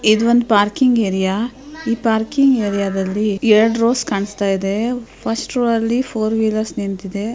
ಇದು ಒಂದು parking area ಈ ಪಾರ್ಕಿಂಗ್ ಏರಿಯಾ ದಲ್ಲಿ ಎರಡು ರೋಸ್ ಕಾಣಿಸ್ತ ಇದೆ ಫಸ್ಟ್ ರೋ ಅಲ್ಲಿ ಫೋರ್ ವೀಲರ್ ನಿಂತಿದೆ.